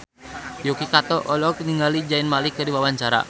Yuki Kato olohok ningali Zayn Malik keur diwawancara